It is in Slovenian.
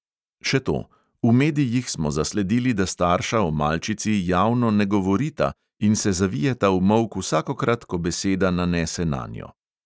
Še to, v medijih smo zasledili, da starša o malčici javno ne govorita in se zavijeta v molk vsakokrat, ko beseda nanese nanjo.